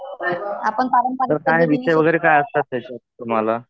तर काय विषय वैगरे काय असतात त्याच्यात तुम्हाला?